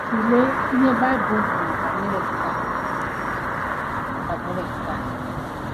Tụlee ihe Baịbụl kwuru banyere nke a banyere nke a.